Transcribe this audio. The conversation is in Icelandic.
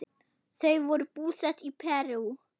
Þau voru búsett í Perú.